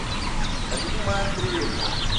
римма андреевна